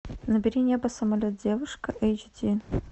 набери небо самолет девушка эйч ди